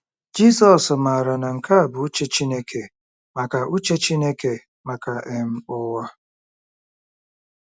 Jizọs maara na nke a bụ uche Chineke maka uche Chineke maka um ụwa.